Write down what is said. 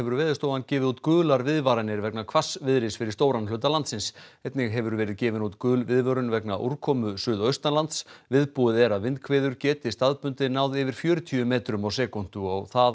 Veðurstofan gefið út gular viðvaranir vegna hvassviðris fyrir stóran hluta landsins einnig hefur verið gefin út gul viðvörun vegna úrkomu suðaustanlands viðbúið er að vindhviður geti staðbundið náð yfir fjörutíu metrum á sekúndu og á það